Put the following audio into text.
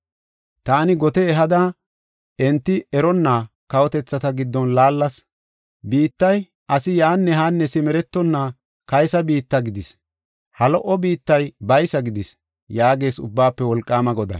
“Taani gote ehada enti eronna kawotethata giddon laallas. Biittay asi yaanne haanne simeretonna kaysa biitta gidis; ha lo77o biittay baysa gidis” yaagees Ubbaafe Wolqaama Goday.